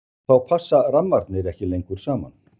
Þá passa rammarnir ekki lengur saman.